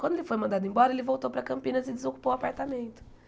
Quando ele foi mandado embora, ele voltou para Campinas e desocupou o apartamento.